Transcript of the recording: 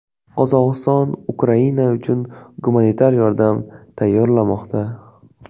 Qozog‘iston Ukraina uchun gumanitar yordam tayyorlamoqda.